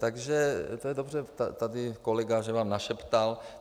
Takže to je dobře, tady kolega, že vám našeptal.